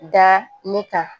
Da ne kan